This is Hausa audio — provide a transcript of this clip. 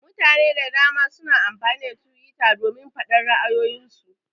Mutane da dama suna amfani da twitter domin faɗar ra'ayoyin su.